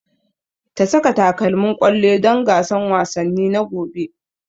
Ta saka takalmin ƙwallo don gasan wasanni na gobe